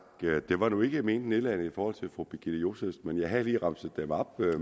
det var nu ikke ment nedladende over fru birgitte josefsen men jeg havde lige remset dem op